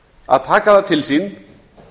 að taka það til sín